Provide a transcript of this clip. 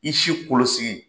I siw kolosigi